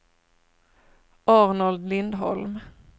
Arnold Lindholm